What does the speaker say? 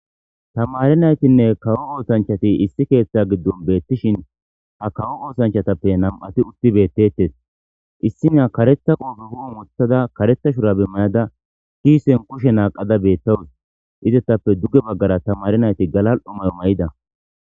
tamari naytinne kawo ootanchati issi keeththa giddon beettishin ha kawo oosanchatappe nam7ati utti beettetes issina karetha qoofe hu7u muthada karetha shurabimmayada kiisen kushe naaqada beettawus izettappe dugge baggara tamari nayti galal7o mayo may7ida